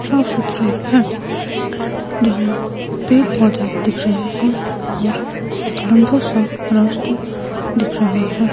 साफ सुधरी है जहा पेड़ पौधे दिख रहे है और एक लंबा सा रास्ता दिख रहा है।